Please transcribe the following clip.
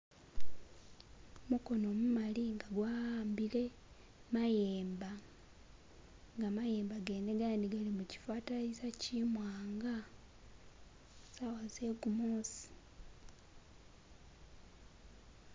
mukono mumali nga gwawambile mayemba nga mayemba gene gandi gali muchifatalayiza chimwanga zawa zegumusi